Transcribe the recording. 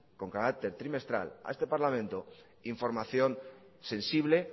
con carácter trimestral a este parlamento información sensible